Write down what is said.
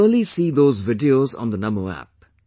You can surely see those videos on the Namo app